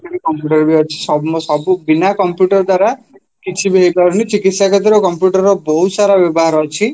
computer ଅଛି ସବୁ ବିନା computer ଦ୍ଵାରା କିଛିବି ହେଇ ପାରୁନି ଚିକିସ୍ୟା କ୍ଷେତ୍ରରେ computer ବହୁତସାରା ବ୍ୟବହାର ଅଛି